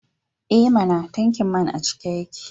E mana! tankin man a cike yake.